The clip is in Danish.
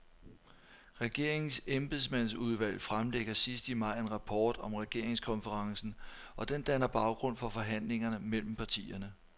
Regeringens embedsmandsudvalg fremlægger sidst i maj en rapport om regeringskonferencen, og den danner baggrund for forhandlingerne mellem partierne.